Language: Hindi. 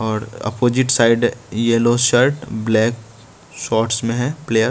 और opposite side yellow shirt black shorts में हैप्लेयर --